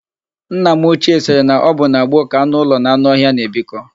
Nna m ochie sịrị na ọ bụ na gboo ka anụ ụlọ na anụ ọhịa na-ebikọ.